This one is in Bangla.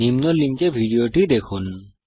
নিম্ন লিঙ্কে উপলব্ধ ভিডিওটি দেখুন